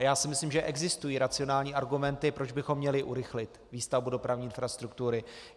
A já si myslím, že existují racionální argumenty, proč bychom měli urychlit výstavbu dopravní infrastruktury.